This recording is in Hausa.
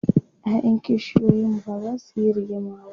ƴaƴan kishiyoyin bazasu Yi rigima ba